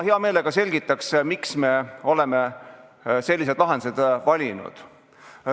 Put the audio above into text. Hea meelega selgitan, miks me oleme sellised lahendused valinud.